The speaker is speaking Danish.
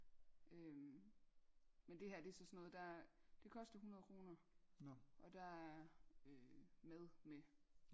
øhm men det her det er så sådan noget der er det koster 100 kroner og der er øh mad med